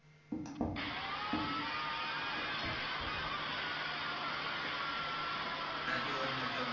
নাকি অন্য কেউ?